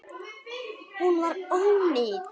Hún var ónýt.